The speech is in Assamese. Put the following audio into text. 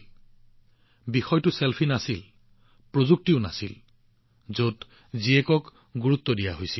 আৰু ইয়াত বিষয়টো চেলফি বা প্ৰযুক্তি নাছিল কন্যা সন্তানক গুৰুত্ব দিয়া হৈছিল